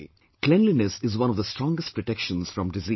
Cleanliness is one of the strongest protections from disease